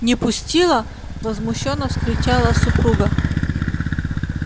не пустила возмущённо вскричала супруга